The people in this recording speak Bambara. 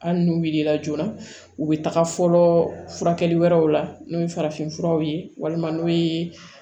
Hali n'u wulila joona u bɛ taga fɔlɔ furakɛli wɛrɛw la n'o ye farafinfuraw ye walima n'u ye